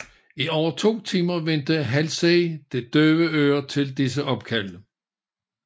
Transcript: I over to timer vendte Halsey det døve øre til disse opkald